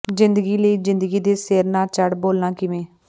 ਜ਼ਿੰਦਗੀ ਲਈ ਜ਼ਿੰਦਗੀ ਦੇ ਸਿਰ ਨਾ ਚੜ੍ਹ ਬੋਲਾਂ ਕਿਵੇਂ